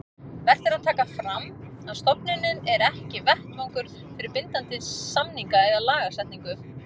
Vert er að taka fram að stofnunin er ekki vettvangur fyrir bindandi samninga eða lagasetningu.